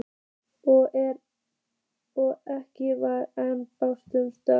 Og ekki var ein báran stök.